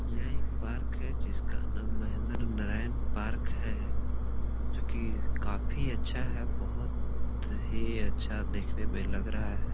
ये एक पार्क है जिसका नाम महिंद्र नारायण पार्क है जो की काफी अच्छा है बहुत ही अच्छा देखने में लग रहा है।